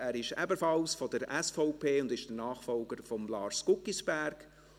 er ist ebenfalls von der SVP und der Nachfolger von Lars Guggisberg.